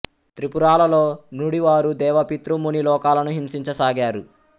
త్రిపురాలలో నుడి వారు దేవ పితృ ముని లోకాలను హింసించసాగారు